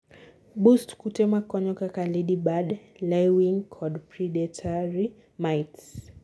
boost kute makonyo kaka ladybird, laewings kod predatory mites